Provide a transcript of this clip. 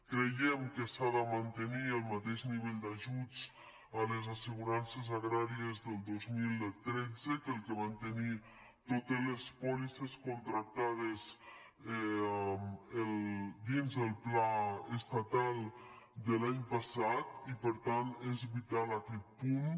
creiem que s’ha de mantenir el mateix nivell d’ajuts a les assegurances agràries del dos mil tretze que el que van tenir totes les pòlisses contractades dins del pla estatal de l’any passat i per tant és vital aquest punt